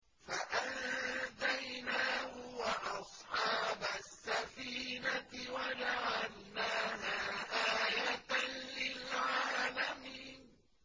فَأَنجَيْنَاهُ وَأَصْحَابَ السَّفِينَةِ وَجَعَلْنَاهَا آيَةً لِّلْعَالَمِينَ